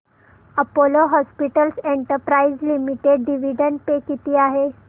Apollo Hospitals Enterprise Limited dividend pay किती आहे